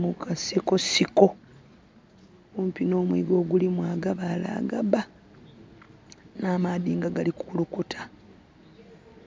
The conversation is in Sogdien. mukasikosiko kumpi no mwiga ogulimu agabaale aga bba na maadhi nga gali kukulukuuta